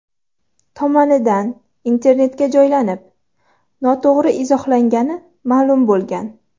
tomonidan internetga joylanib, noto‘g‘ri izohlangani ma’lum bo‘lgan.